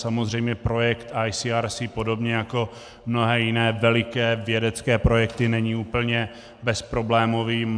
Samozřejmě projekt ICRC podobně jako mnohé jiné veliké vědecké projekty není úplně bezproblémový.